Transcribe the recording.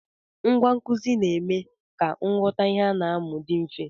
Ngwa nkụzi na-eme ka nghọta ihe a na-amụ dị mfe.